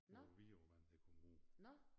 Hvor æ vidåvand det kommer ud